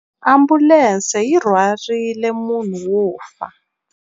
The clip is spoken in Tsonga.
Ambulense yi rhwarile munhu wo fa.